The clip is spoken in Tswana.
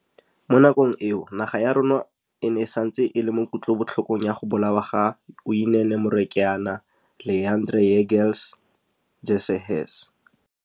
Mo nakong eo, naga ya rona e ne e santse e le mo kutlobotlhokong ya go bolawa ga Uyinene Mrwetyana, Leighandre Jegels, Jesse Hess.